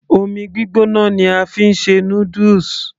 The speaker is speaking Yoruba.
omi gbígbóná ni a fi ń ṣe noodles